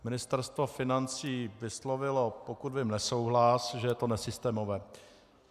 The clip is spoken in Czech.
Ministerstvo financí vyslovilo, pokud vím, nesouhlas, že je to nesystémové.